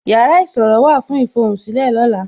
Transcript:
Yàrá ìṣòro wà fún ifohunsile lola